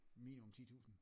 Minimum 10 tusind